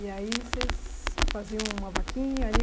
E aí vocês faziam uma vaquinha ali?